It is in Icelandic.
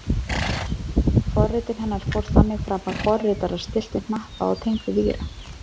Forritun hennar fór þannig fram að forritarar stilltu hnappa og tengdu víra.